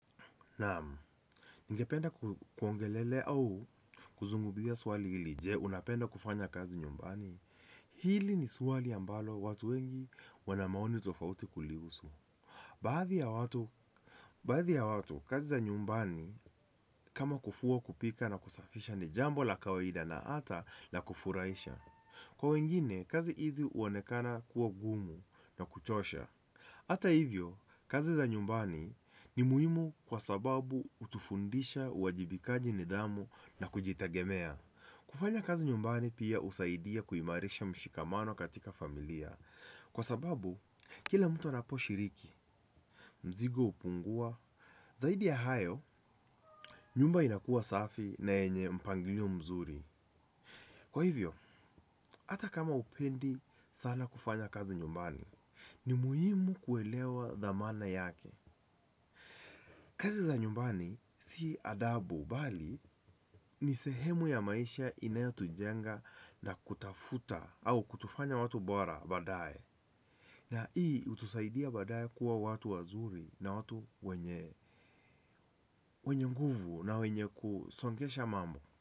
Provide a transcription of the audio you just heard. Naamu, ningependa kuongelelea au kuzunguzia swali hili je unapenda kufanya kazi nyumbani. Hili ni swali ambalo watu wengi wana maoni tofauti kulihusu. Baadhi ya watu, kazi za nyumbani kama kufua kupika na kusafisha ni jambo la kawaida na hata la kufuraisha. Kwa wengine, kazi hizi huonekana kuwa gumu na kuchosha. Hata hivyo, kazi za nyumbani ni muhimu kwa sababu hutufundisha, uwajibikaji nidhamu na kujitegemea. Kufanya kazi nyumbani pia husaidia kuimarisha mshikamano katika familia. Kwa sababu, kila mtu anaposhiriki, mzigo hupungua, zaidi ya hayo, nyumba inakua safi na yenye mpangilio mzuri. Kwa hivyo, hata kama hupendi sana kufanya kazi nyumbani ni muhimu kuelewa thamana yake. Kazi za nyumbani si adabu bali ni sehemu ya maisha inayotujenga na kutafuta au kutufanya watu bora baadaye. Na hii hutusaidia baadaye kuwa watu wazuri na watu wenye nguvu na wenye kusongesha mambo.